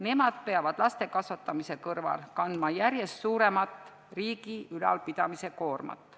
Nemad peavad laste kasvatamise kõrval kandma järjest suuremat riigi ülalpidamise koormat.